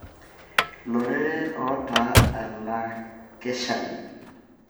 loreren ota olakeshani.